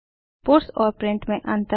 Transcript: puts और print में अन्तर